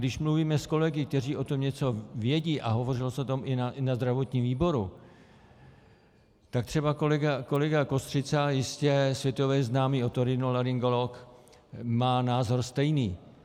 Když mluvíme s kolegy, kteří o tom něco vědí, a hovořilo se o tom i na zdravotním výboru, tak třeba kolega Kostřica, jistě světově známý otorinolaryngolog, má názor stejný.